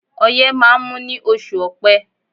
Ọyẹ́ máa ń mú ní oṣù ọpẹ́